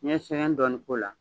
N yɛ sɛgɛn dɔɔnin k'o la